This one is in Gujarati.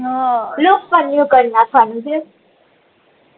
લૂક્જ નૂઉ કર નાખવાનું છે